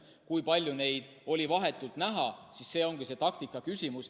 Kui palju neid oli vahetult näha – see ongi taktika küsimus.